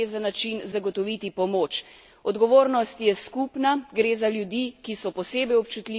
Gre za ljudi, ki so posebej občutljivi, in vsak dan neukrepanja je lahko usoden za novo življenje.